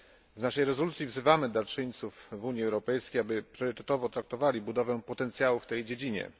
W naszej rezolucji wzywamy darczyńców z Unii Europejskiej, aby priorytetowo traktowali budowę potencjału w tej dziedzinie.